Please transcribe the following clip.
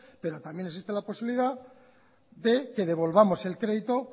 pero también existe la posibilidad de que devolvamos el crédito